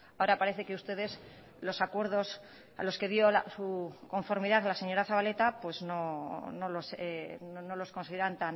ahora parece que ustedes los acuerdos a los que dio su conformidad la señora zabaleta pues no los consideran